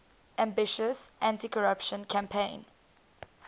ambitious anticorruption campaign